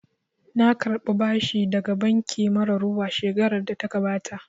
Na karɓa bashi daga banki mara ruwa shekarar da ta gabata